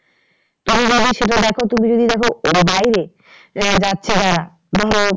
এবার যদি সেটা দেখো তুমি যদি দেখো এবার বাইরে আহ যাচ্ছে যারা ধরো